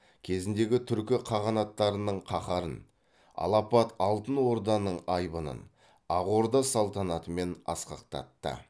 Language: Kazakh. кезіндегі түркі қағанаттарының қаһарын алапат алтын орданың айбынын ақ орда салтанатымен асқақтатты